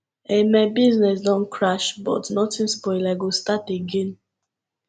um my business don crash but nothing spoil i go start again